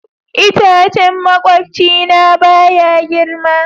Itacen makwabcina baya girma.